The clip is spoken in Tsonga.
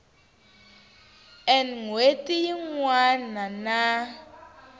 n hweti yin wana na